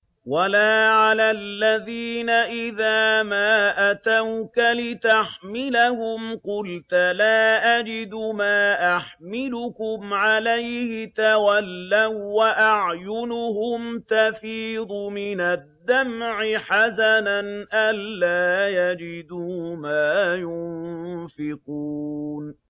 وَلَا عَلَى الَّذِينَ إِذَا مَا أَتَوْكَ لِتَحْمِلَهُمْ قُلْتَ لَا أَجِدُ مَا أَحْمِلُكُمْ عَلَيْهِ تَوَلَّوا وَّأَعْيُنُهُمْ تَفِيضُ مِنَ الدَّمْعِ حَزَنًا أَلَّا يَجِدُوا مَا يُنفِقُونَ